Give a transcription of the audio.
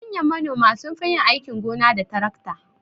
Manyan manoma sunfi yin aikin gona da tarakta.